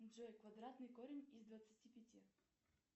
джой квадратный корень из двадцати пяти